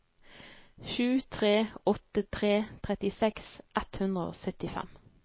sju tre åtte tre trettiseks ett hundre og syttifem